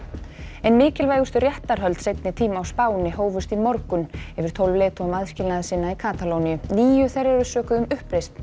ein mikilvægustu réttarhöld seinni tíma á Spáni hófust í morgun yfir tólf leiðtogum aðskilnaðarsinna í Katalóníu níu þeirra eru sökuð um uppreisn